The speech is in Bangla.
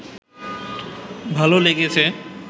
ভালো লেগেছে